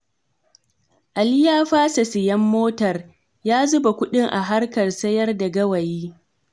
Ali ya fasa sayen motar, ya zuba kuɗin a harkar sayar da gawayi.